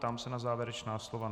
Ptám se na závěrečná slova.